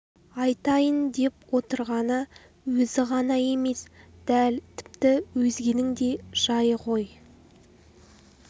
айтайын деп отырғаны өзі ғана емес дәл тіпті өзгенің де жайы ғой